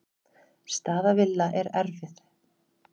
Staða Villa er erfið.